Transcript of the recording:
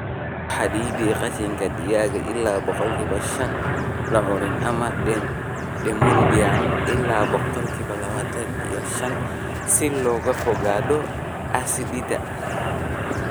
Ku xaddid qashinka digaaga ilaa boqolki shan; lucerne ama Desmodium ilaa boqolki labatan iyo shan si looga fogaado acidity